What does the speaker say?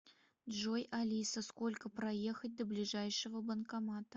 джой алиса сколько проехать до ближайшего банкомата